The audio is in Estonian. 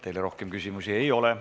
Teile rohkem küsimusi ei ole.